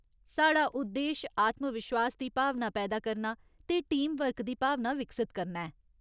साढ़ा उद्देश आत्मविश्वास दी भावना पैदा करना ते टीम वर्क दी भावना विकसत करना ऐ।